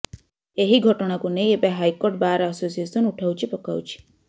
ଏହି ଘଟଣାକୁ ନେଇ ଏବେ ହାଇକୋର୍ଟ ବାର୍ ଆସୋସିଏସନ୍ ଉଠାଉଛି ପକାଉଛି